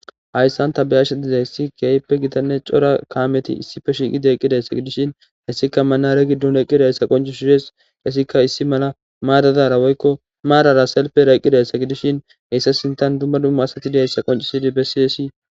hayssan ta beyasha dizayssi keyppe gidanne cora kaameti issife shiiqi deeqqidayssa gidishin hessika manare giddun eqqida hyssa qoncu shires hessika issi mala maadadara woykko maarara selpe raeqqidayssa gidishin heyssa sintan dumma dumma asatidihayssa qoncu sidi bessiesi